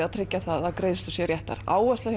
að tryggja að greiðslur séu réttar áhersla